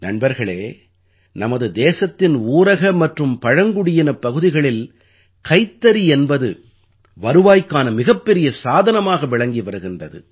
நண்பர்களே நமது தேசத்தின் ஊரக மற்றும் பழங்குடியினப் பகுதிகளில் கைத்தறி என்பது வருவாய்க்கான மிகப்பெரிய சாதனமாக விளங்கி வருகின்றது